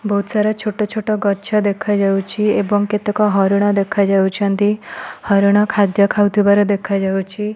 ବହୁତ୍ ସାରା ଛୋଟ ଛୋଟ ଗଛ ଦେଖାଯାଉଛି ଏବଂ କେତେକ ହରିଣ ଦେଖା ଯାଉଛନ୍ତି ହରିଣ ଖାଦ୍ୟ ଖାଉଥିବାର ଦେଖା ଯାଉଛି।